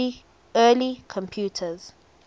early computers